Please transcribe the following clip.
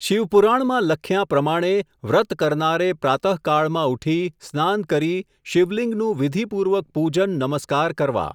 શિવપુરાણમાં લખ્યાં પ્રમાણે, વ્રત કરનારે પ્રાતઃકાળમાં ઉઠી સ્નાન કરી, શિવલિંગનું વિધિપૂર્વક પૂજન નમસ્કાર કરવા.